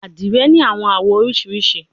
Adire ni awọn awọ oriṣiriṣi